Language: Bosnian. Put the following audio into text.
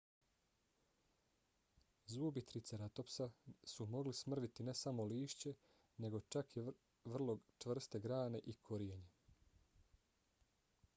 zubi triceratopsa su mogli smrviti ne samo lišće nego čak i vrlo čvrste grane i korijenje